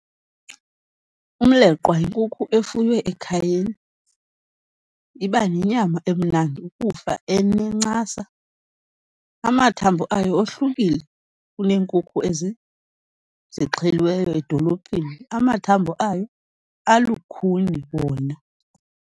Umleqwa yinkukhu efuywe ekhayeni, iba nenyama emnandi ukufa, enencasa. Amathambo ayo ohlukile kuneenkukhu ezi zixheliweyo edolophini, amathambo ayo alukhuni wona.